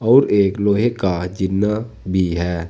और एक लोहे का जीना भी है।